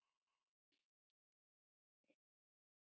Við göngum hratt.